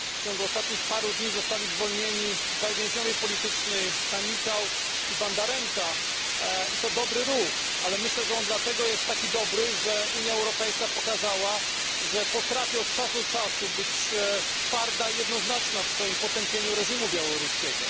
W ostatnich dniach zostali zwolnieni dwaj więźniowie polityczni Sannikau i Bandarenka. To dobry ruch, ale myślę, że on dlatego jest taki dobry, że Unia Europejska pokazała, że potrafi od czasu do czasu być twarda i jednoznaczna w swoim potępieniu reżimu białoruskiego.